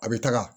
A bɛ taga